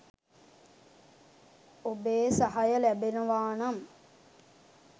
ඔබේ සහය ලැබෙනවා නම්